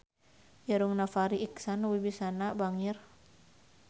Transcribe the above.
Irungna Farri Icksan Wibisana bangir